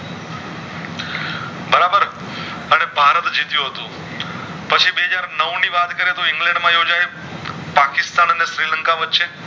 અને ભારત જીતીયુ હતું પછી બે હાજર નવ ની વાત કરે તો ઇંગ્લેન્ડ માં યોજાયું પાકીસ્તાન અને શ્રીલંકા વચ્ચે